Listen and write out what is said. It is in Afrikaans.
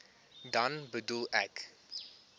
dan bedoel ek